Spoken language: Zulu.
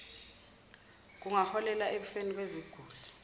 kungaholela ekufeni kweziguli